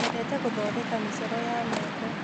Nyendete gũthondeka mĩcoro ya mĩako.